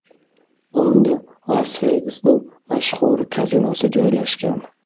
Unda Las-Vegasning mashhur kazinosi joylashgan.